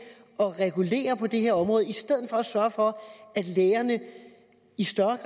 at regulere på det her område i stedet for at sørge for at lægerne i større